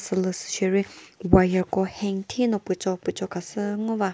sülüsü sheri wire ko hang thino pücho pücho khasü ngo va.